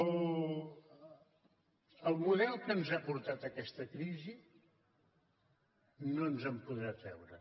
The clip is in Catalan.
el model que ens ha portat a aquesta crisi no ens en podrà treure